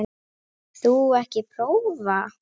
Vilt þú ekki prófa?